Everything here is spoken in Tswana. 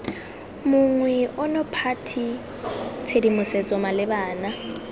monngwe ono party tshedimosetso malebana